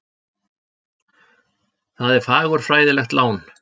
Það er fagurfræðilegt lán.